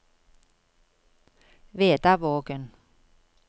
Vedavågen